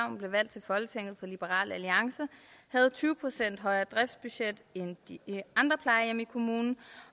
hun blev valgt til folketinget for liberal alliance havde tyve procent højere driftsbudget end de andre plejehjem i kommunen